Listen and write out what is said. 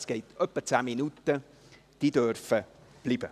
es dauert etwa 10 Minuten –, darf bleiben.